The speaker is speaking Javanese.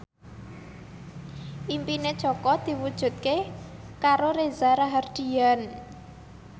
impine Jaka diwujudke karo Reza Rahardian